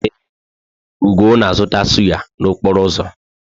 Ee, Ugo na-azụta sụ́yá n'okporo ụzọ?